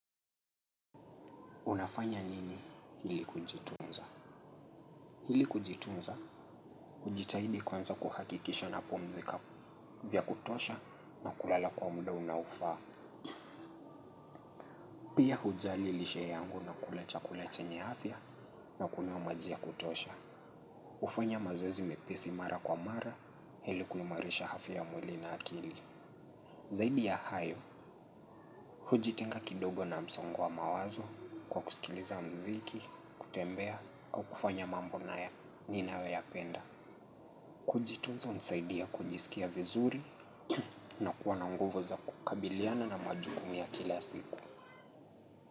Unafanya nini ili kujitunza? Ili kujitunza, hujitahidi kwanza kuhakikisha napumzika vya kutosha na kulala kwa muda unaofaa. Pia hujali lishe yangu na kula chakula chenye afya na kunywa maji ya kutosha. Hufanya mazoezi mepesi mara kwa mara ili kuimarisha afya ya mwili na akili. Zaidi ya hayo, hujitenga kidogo na msongo wa mawazo kwa kusikiliza mziki, kutembea au kufanya mambo nayo ninayoyapenda. Kujitunza hunisaidia kujisikia vizuri na kuwa na nguvu za kukabiliana na majukumu ya kila siku.